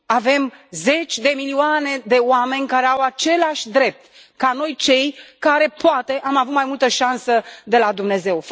Avem zeci de milioane de oameni care au același drept ca noi, cei care, poate, am avut mai multă șansă de la Dumnezeu.